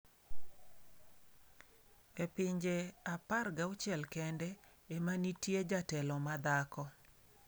3. E pinje 16 kende ema nitie jatelo ma dhako.